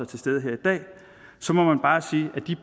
til stede her i dag så må man bare sige at de